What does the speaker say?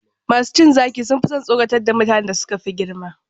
Masu cin zaki sun fi son tsoratar da mutanen da suka fi girma.